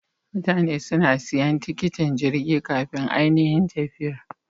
Mutane suna siyan tiketin Jirgi kafin anihin tafiyar.